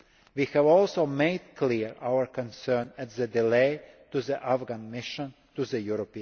himself. We have also made clear our concern at the delay to the Afghan Mission